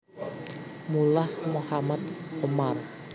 Mullah Mohammad Omar